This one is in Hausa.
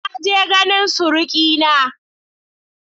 Na je ganin surikina.